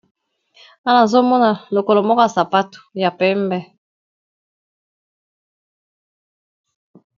Awa nazomona lokolo moko yasapato ya pembe